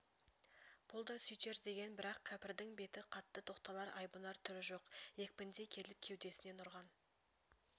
бұл да сөйтер деген бірақ кәпірдің беті қатты тоқталар айбынар түрі жоқ екпіндей келіп кеудесінен ұрған